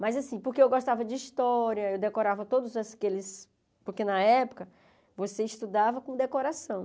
Mas, assim, porque eu gostava de história, eu decorava todos aqueles... Porque, na época, você estudava com decoração.